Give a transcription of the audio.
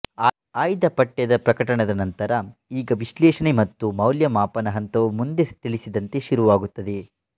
ಆಯ್ದ ಪಠ್ಯದ ಪ್ರಕಟನದ ನಂತರ ಈಗ ವಿಶ್ಲೇಷಣೆ ಮತ್ತು ಮೌಲ್ಯಮಾಪನ ಹಂತವು ಮುಂದೆ ತಿಳಿಸಿದಂತೆ ಶುರುವಾಗುತ್ತದೆ